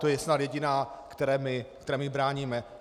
To je snad jediná, které my bráníme.